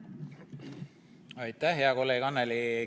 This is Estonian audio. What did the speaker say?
Aitäh, hea kolleeg Annely!